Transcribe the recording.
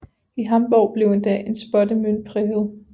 I Hamborg blev endda en spottemønt præget